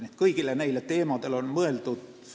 Nii et kõigile neile küsimustele on mõeldud.